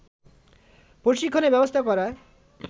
প্রশিক্ষণের ব্যবস্থা করায়